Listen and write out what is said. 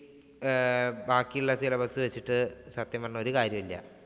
ആഹ് ബാക്കിയുള്ള syllabus വെച്ചിട്ട് സത്യം പറഞ്ഞാ ഒരു കാര്യവുമില്ല.